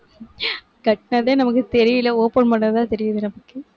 கட்டுனதே நமக்கு தெரியலே open பண்ணாதான், தெரியுது நமக்கு